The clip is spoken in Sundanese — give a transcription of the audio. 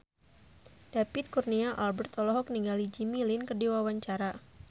David Kurnia Albert olohok ningali Jimmy Lin keur diwawancara